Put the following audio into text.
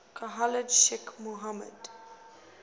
khalid sheikh mohammed